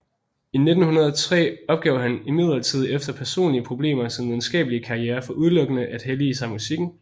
I 1903 opgav han imidlertid efter personlige problemer sin videnskabelige karriere for udelukkende at hellige sig musikken